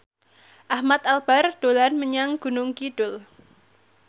Ahmad Albar dolan menyang Gunung Kidul